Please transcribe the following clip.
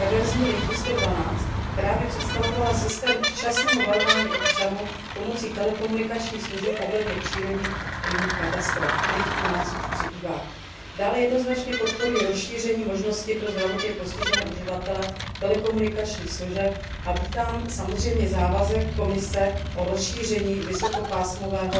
reverzní linky 112, která by představovala systém včasného varování občanů pomocí telekomunikačních služeb ohledně přírodních a jiných katastrof, kterých u nás už přibývá. Dále jednoznačně podporuji rozšíření možností pro zdravotně postižené uživatele telekomunikačních služeb a vítám samozřejmě závazek Komise k rozšíření vysokopásmového